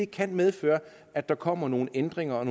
kan medføre at der kommer nogle ændringer